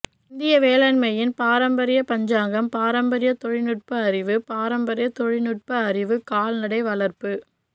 இந்திய வேளாண்மையின் பாரம்பரியம் பஞ்சாங்கம் பாரம்பரிய தொழில்நுட்ப அறிவு பாரம்பரிய தொழில்நுட்ப அறிவு கால்நடை வளர்ப்பு